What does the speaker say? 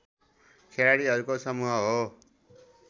खेलाडीहरूको समूह हो